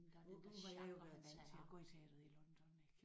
Nu nu var jeg jo været vant til at gå i teatret i London ik?